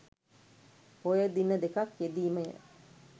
පෝය දින දෙකක් යෙදීමය.